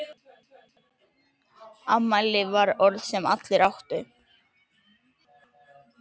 Afmæli var orð sem allir áttu.